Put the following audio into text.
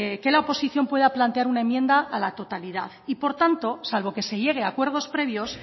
que la oposición pueda plantear una enmienda a la totalidad y por tanto salvo que se llegue a acuerdos previos